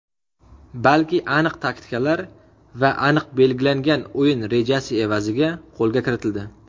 balki aqlli taktikalar va aniq belgilangan o‘yin rejasi evaziga qo‘lga kiritildi.